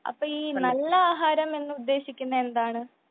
അപ്പൊ ഈ നല്ല ആഹാരം എന്ന് ഉദ്ദേശിക്കുന്നത് എന്താണ് ?